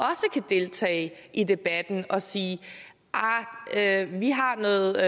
deltage i debatten og sige at ah vi har noget